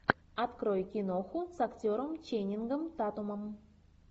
открой киноху с актером ченнингом татумом